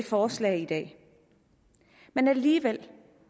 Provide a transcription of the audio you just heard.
forslag i dag men alligevel